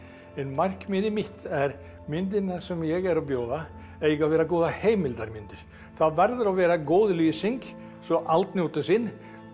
en markmiðið mitt er myndirnar sem ég er að bjóða eiga að vera góðar heimildarmyndir það verður að vera góð lýsing svo allt njóti sín